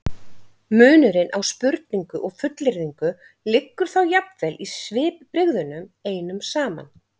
munurinn á spurningu og fullyrðingu liggur þá jafnvel í svipbrigðunum einum saman